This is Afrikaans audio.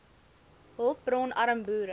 hulpbron arm boere